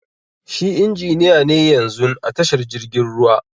Shi injiniya ne yanzun a tashar jirgin ruwa.